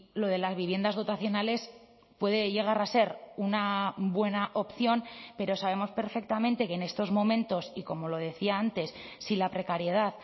lo de las viviendas dotacionales puede llegar a ser una buena opción pero sabemos perfectamente que en estos momentos y como lo decía antes si la precariedad